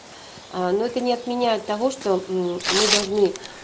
а но это не отменяет того что мм мы должны